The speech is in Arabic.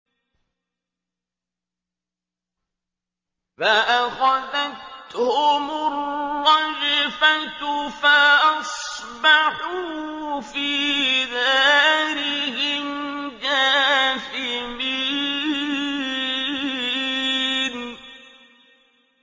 فَأَخَذَتْهُمُ الرَّجْفَةُ فَأَصْبَحُوا فِي دَارِهِمْ جَاثِمِينَ